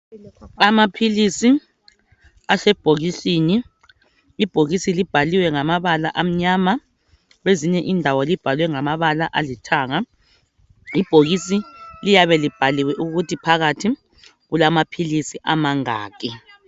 Amaphilisi asebhokisini ibhokisi libhaliwe ngamabala amnyama kwezinye indawo libhalwe ngamabala alithanga. Ibhokisi liyabe libhaliwe ukuthi phakathi kulamaphilisi amangaki.